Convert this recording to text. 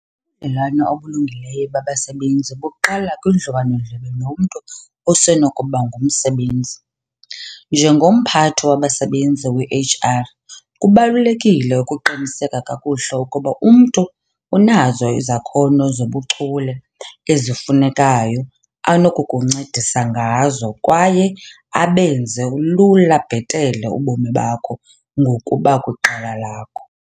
Ubudlelwane obulungileyo babasebenzi buqala kudliwano-ndlebe nomntu osenokuba ngumsebenzi. Njengomphathi wabasebenzi, weHR, kubalulekile ukuqinisekisa kakuhle ukuba umntu unazo izakhono zobuchule ezifunekayo anokukuncedisa ngazo kwaye abenze lula bhetele ubomi bakho ngokuba kwiqela lakho.